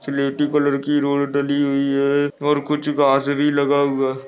स्लेटी कलर की रोड डली हुई है और कुछ घास भी लगा हुआ--